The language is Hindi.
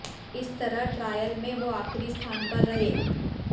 इस तरह ट्रायल में वो आखिरी स्थान पर रहे